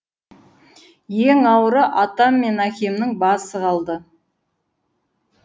ең ауыры атам мен әкемнің басы қалды